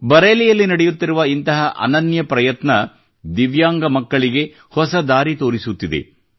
ಬರೇಲಿಯಲ್ಲಿ ನಡೆಯುತ್ತಿರುವ ಇಂತಹ ಅನನ್ಯ ಪ್ರಯತ್ನ ದಿವ್ಯಾಂಗ ಮಕ್ಕಳಿಗೆ ಹೊಸ ದಾರಿ ತೋರಿಸುತ್ತಿದೆ